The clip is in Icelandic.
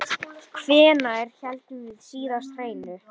Hvenær héldum við síðast hreinu?